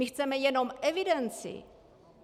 My chceme jenom evidenci.